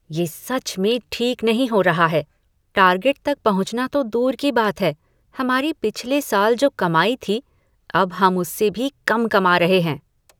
ये सच में ठीक नहीं हो रहा है! टार्गेट तक पहुंचना तो दूर की बात है, हमारी पिछले साल जो कमाई थी, अब हम उससे भी कम कमा रहे हैं।